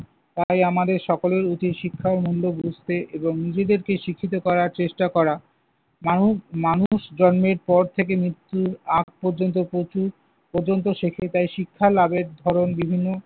তাই আমাদের সকলের উচিত শিক্ষার মূল্য বুঝতে এবং নিজেদেরকে শিক্ষিত করার চেষ্টা করা। মানু~ মানুষ জন্মের পর থেকে মৃত্যুর আগ পর্যন্ত প্রচুর পর্যন্ত শেখে। তাই শিক্ষা লাভের ধরন বিভিন্ন।